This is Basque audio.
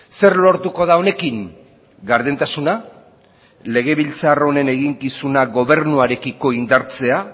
zer lortuko da honekin gardentasuna legebiltzar honen eginkizuna gobernuarekiko indartzea